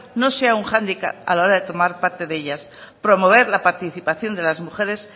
no sea un hándicap a la hora de tomar parte de ellas promover la participación de las mujeres